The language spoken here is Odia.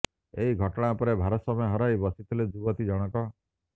ଏହି ଘଟଣା ପରେ ଭାରସାମ୍ୟ ହରାଇ ବସିଥିଲେ ଯୁବତୀ ଜଣକ